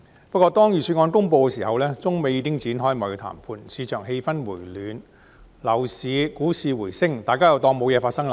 不過，當預算案公布時，中美已展開貿易談判，市場氣氛回暖，樓市股市回升，大家又當作無事發生。